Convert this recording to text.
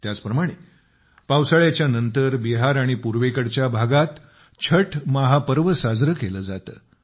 त्याच प्रमाणे पावसाळ्याच्या नंतर बिहार आणि पूर्वेकडच्या भागात छठ चे महापर्व साजरे केले जाते